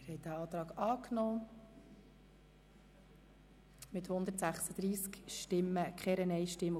Sie haben den Antrag BaK einstimmig mit 136 Stimmen angenommen.